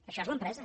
això és l’empresa